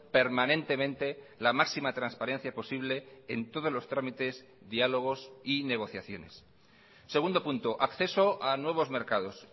permanentemente la máxima transparencia posible en todos los trámites diálogos y negociaciones segundo punto acceso a nuevos mercados